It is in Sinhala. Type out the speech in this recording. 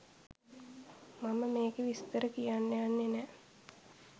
මම මෙකෙ විස්තර කියන්න යන්නෙ නෑ.